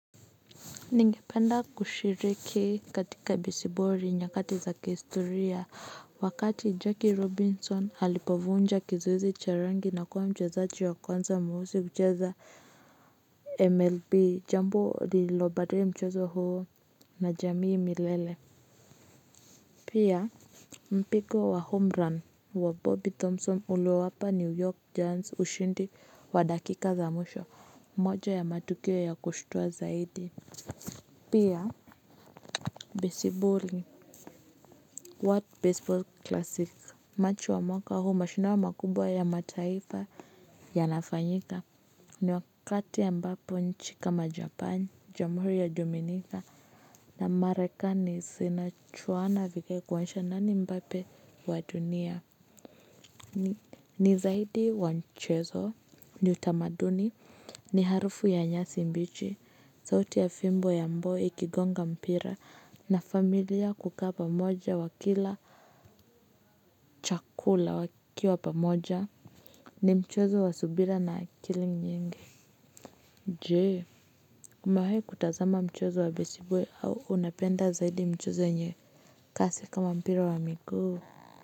Ningependa kushiriki katika besiboli nyakati za kihistoria wakati Jakey Robinson alipovunja kizazi cha rangi na kuwa mchezaji wa kwanza mweusi kucheza mlb jambo lililo badae mchezo huo na jamii milele. Pia mpiko wa homerun wa Bobby Thompson uliowapa new york jans ushindi wa dakika za mwisho moja ya matukio ya kushtua zaidi. Pia besiboli, what baseball classic, machu wa mwaka huu mashindano makubwa ya mataifa yanafanyika. Ni wakati ambapo nchi kama japani, jamuhuri ya dominika na marekani zina juana vile kuonyesha nani mbape wa dunia. Ni zaidi wa mchezo, ni utamaduni, ni harufu ya nyasi mbichi, sauti ya fimbo ya mboi ikigonga mpira na familia kukaa pamoja wakila chakula wakiwa pamoja ni mchezo wa subira na akili nyingi. Je, umewahi kutazama mchezo wa besiboli au unapenda zaidi mchezo yenye kasi kama mpira wa miguu.